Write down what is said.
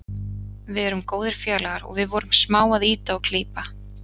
Við erum góðir félagar og við vorum smá að ýta og klípa.